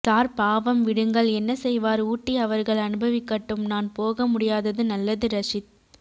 sir பாவம் விடுங்கள் என்ன செய்வார் ஊட்டி அவர்கள் அன்பவிக்கட்டும் நான் போகோ முடியாது நல்லது ரஷீத்